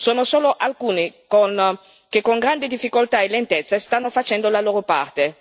Sono solo alcuni che, con grande difficoltà e lentezza, stanno facendo la loro parte.